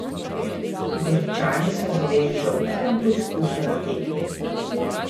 Goričani so zadeli že ob prvem poizkusu na tekmi.